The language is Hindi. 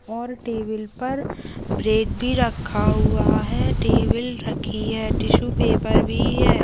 और टेबल पर ब्रेड भी रखा हुआ है टेबल रखी है टिशू पेपर भी है।